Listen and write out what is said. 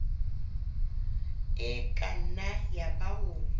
e ka nna yaba o